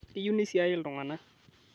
Keyieu neisiaai iltung'ana